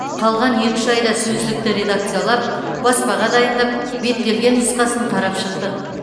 қалған екі үш айда сөздікті редакциялап баспаға дайындап беттелген нұсқасын қарап шықтық